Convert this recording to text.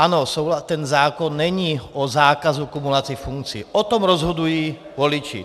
Ano, ten zákon není o zákazu kumulace funkcí, o tom rozhodují voliči.